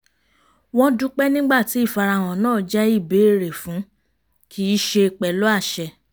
wọ́n dúpẹ́ nígbà tí ìfarahàn náà jẹ́ ìbéèrè fún kì í ṣe pẹ̀lú àṣẹ